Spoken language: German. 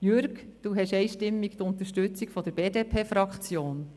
Jürg Iseli, Sie haben einstimmig die Unterstützung der BDP-Fraktion.